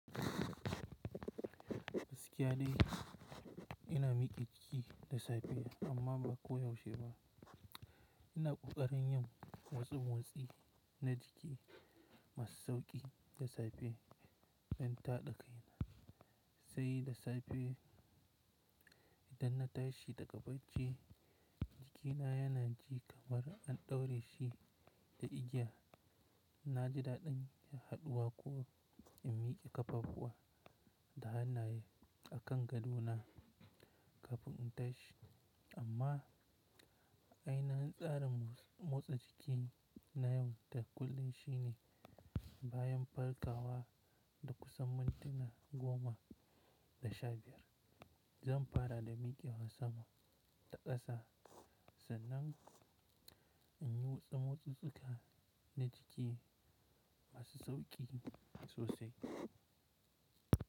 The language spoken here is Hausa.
Gaskiya dai ina miƙe ciki da safe amma ba ko yaushe ba. Ina ƙoƙarin yin watsu-motsi na jiki masu sauƙi da safe bayan taɗa kaina, sai da safe idan na tashi daga bacci jikina yana ji kamar an ɗaure shi da igiya. Na ji daɗin haɗuwa kuwa in miƙe ƙafafuwa da hannaye a kan gadona kafin in tashi. Amma ainihin tsarin motsa jiki na yau da kullun shine bayan farkawa da kusan mintuna goma da sha biyar, zan fara da miƙewa sama da ƙasa sannan in yi watsa motsi tsuka na jiki masu sauƙi sosai.